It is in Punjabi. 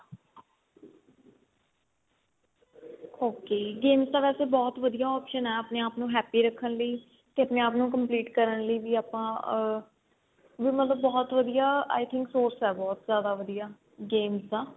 ok games ਤਾਂ ਵੈਸੇ ਬਹੁਤ ਵਧੀਆ option ਏ ਆਪਣੇ ਆਪ ਨੂੰ happy ਰਖਣ ਲਈ ਤੇ ਆਪਣੇ ਆਪ ਨੂੰ complete ਕਰਨ ਲਈ ਵੀ ਆਪਾਂ ਵੀ ਮਤਲਬ ਬਹੁਤ ਵਧੀਆ I think source ਏ ਬਹੁਤ ਜਿਆਦਾ ਵਧੀਆ games ਦਾ